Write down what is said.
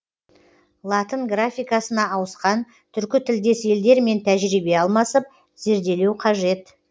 латын графикасына ауысқан түркі тілдес елдермен тәжірибе алмасып зерделеу қажет